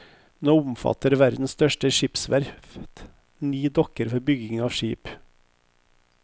Nå omfatter verdens største skipsverft ni dokker for bygging av skip.